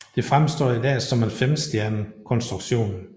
Det fremstår i dag som en femstjernet konstruktion